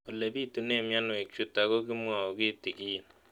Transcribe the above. Ole pitune mionwek chutok ko kimwau kitig'�n